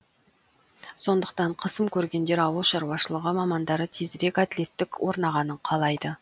сондықтан қысым көргендер ауыл шаруашылығы мамандары тезірек әділеттік орнағанын қалайды